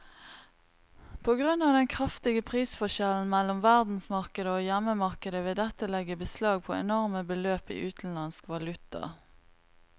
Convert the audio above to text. På grunn av den kraftige prisforskjellen mellom verdensmarkedet og hjemmemarkedet vil dette legge beslag på enorme beløp i utenlandsk valuta.